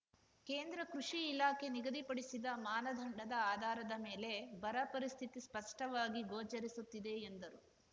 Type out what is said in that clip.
ಕೇಂದ್ರ ಕೃಷಿ ಇಲಾಖೆ ನಿಗದಿಪಡಿಸಿದ ಮಾನದಂಡದ ಆಧಾರದ ಮೇರೆಗೆ ಬರ ಪರಿಸ್ಥಿತಿ ಸ್ಪಷ್ಟವಾಗಿ ಗೋಚರಿಸುತ್ತಿದೆ ಎಂದರು